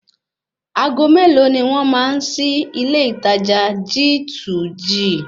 Ago mélòó ni wọ́n máa ṣí ilé ìtajà G2G?